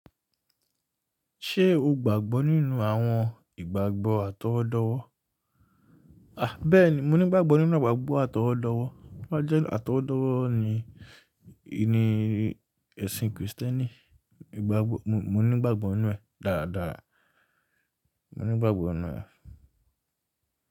Ṣé o gbàgbọ́ nínú àwọn ìgbàgbọ́ àtọwọ́dọ́wọ́? A! Bẹ́ẹ̀ni, mo ní ìgbàgbọ́ nínú à ìgbàgbọ́ àtọwọ́dọ́wọ́, toba jẹ́ àtọwọ́dọ́wọ́ ní ìní ẹṣin Kristẹni. Ìgbàgbọ́, mo ní ìgbàgbọ́ nínú ẹ̀ dáadáa, mo ní ìgbàgbọ́ nínú ẹ̀.